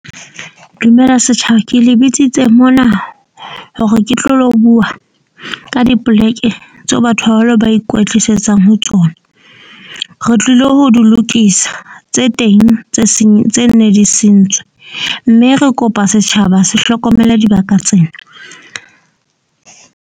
Dumela setjhaba. Ke le bitsitse mona hore ke tlo lo bua ka dipoleke tseo batho ba baholo ba ikwetlisetsang ho tsona. Re tlilo ho di lokisa tse teng, tse seng tse neng di sentswe. Mme re kopa setjhaba se hlokomele dibaka tsena.